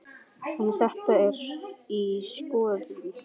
En þetta er í skoðun.